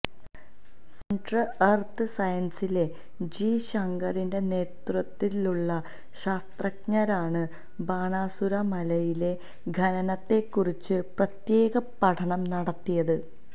centre എര്ത്ത് സയന്സ്സിലെ ജി ശങ്കറിന്റെ നേതൃത്വത്തിലുള്ള ശാസ്ത്രജ്ഞരാണ് ബാണാസുരമലയിലെ ഖനനത്തെക്കുറിച്ച് പ്രത്യേക പഠനം നടത്തിയത്